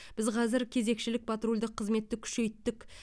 біз қазір кезекшілік патрульдік қызметті күшейттік